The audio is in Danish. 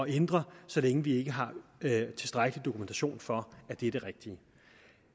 ændre så længe vi ikke har tilstrækkelig dokumentation for at det er det rigtige